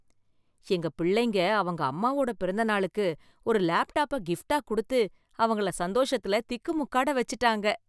எங்க பிள்ளைங்க அவங்க அம்மாவோட பிறந்தநாளுக்கு ஒரு லேப்டாப்பை கிஃப்ட்டா கொடுத்து அவங்கள சந்தோஷத்துல திக்கு முக்காட வச்சுட்டாங்க